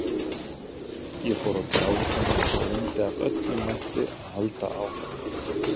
Ég fór að gráta og reyndi af öllum mætti að halda áfram.